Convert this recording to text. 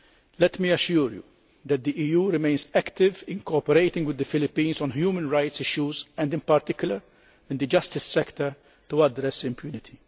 Let me assure you that the EU remains active in cooperating with the Philippines on human rights issues and in particular in the justice sector to address impunity.